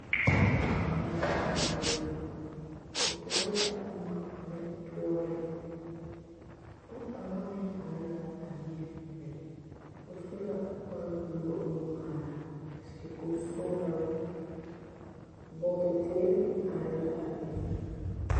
Pɔge kaŋa la zeŋ dakogi zu o toɔrɔ la boma mine noɔreŋ pɔge meŋ kaŋa meŋ are la o niŋe be o su la kpar buluu nuŋmaara a seɛ kuri sɔgelaa woo bɔɔde teere meŋ are la a be